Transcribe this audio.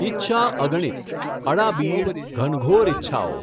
ઈચ્છા અગણિત, અડાબીડ, ઘનઘોર ઈચ્છાઓ.